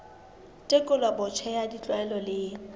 tekolo botjha ya ditlwaelo le